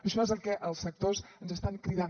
això és el que els sectors ens estan cridant